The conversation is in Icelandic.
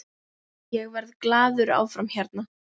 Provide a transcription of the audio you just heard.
Ég verð glaður áfram hérna.